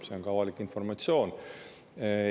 See on avalik informatsioon.